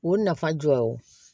O nafa jɔ ye o